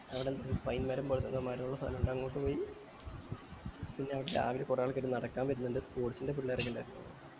അവിടന്ന് ഒരു pine മരം പോലത്തെ ഒരു മരം ഇള്ള സ്ഥലം ഇണ്ട് അങ്ങോട്ട് പോയി പിന്നെ അവിടെ രാവിലെ തന്നെ കൊറേ ആൾക്കാര് നടക്കാൻ വരുന്നിണ്ട് നടക്കുന്നുണ്ടായിരുന്ന്